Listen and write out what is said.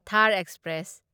Thar express